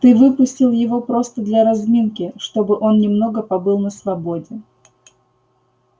ты выпустил его просто для разминки чтобы он немного побыл на свободе